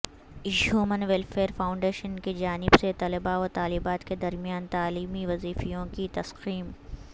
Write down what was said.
have من welfare foundation کی جانب سے طلباء و طالبات کے درمیان تعلیمی وظیفوںکی تقسیم